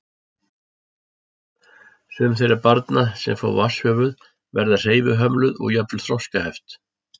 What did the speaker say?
Sum þeirra barna sem fá vatnshöfuð verða hreyfihömluð og jafnvel þroskaskert.